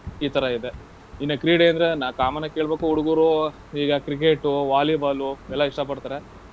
ಈ ತರ ಇದೆ. ಇನ್ನ ಕ್ರೀಡೆ ಅಂದ್ರೆ ನಾ common ಆಗ್ ಕೇಳ್ಬೇಕು ಹುಡುಗ್ರು ಈಗ Cricket, Volleyball ಎಲ್ಲಾ ಇಷ್ಟ ಪಡ್ತಾರೆ.